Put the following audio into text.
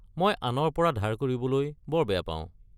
মই আনৰ পৰা ধাৰ কৰিবলৈ বৰ বেয়া পাওঁ।